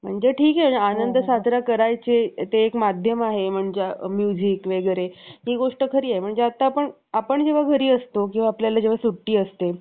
त्यांचा जन्म आणि जीवन याबद्दल पुरेशी माहिती उपलब्ध नाही. वारकरी सांप्रदायातील एक सुप्रसिद्ध मराठी संत, विचारवंत आणि कवी म्हणून त्यांची ओळख होती.